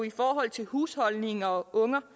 i forhold til husholdning og unger